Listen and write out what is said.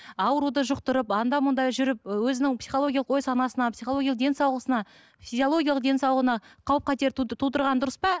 ауруды жұқтырып анда мында жүріп өзінің психологиялық ой санасына психологиялық денсаулығысына физиологиялық денсаулығына қауіп қатер тудырған дұрыс па